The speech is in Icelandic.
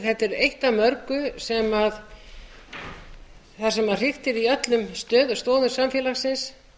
þetta er eitt af mörgu þar sem hriktir í öllum stoðum samfélagsins